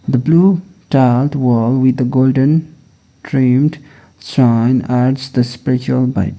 the blue dark wall with a golden framed adds the spiritual vibe.